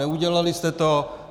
Neudělali jste to.